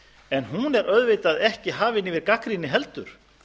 en hún er auðvitað ekki hafin yfir gagnrýni heldur